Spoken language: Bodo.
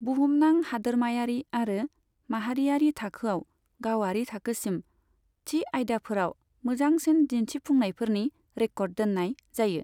बुहुमनां, हादोरमायारि आरो माहारियारि थाखोआव, गावारि थाखोसिम, थि आयदाफोराव मोजांसिन दिन्थिफुंनायफोरनि रेक'र्ड दोन्नाय जायो।